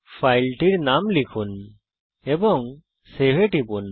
ফাইলের নাম লিখুন এবং save এ টিপুন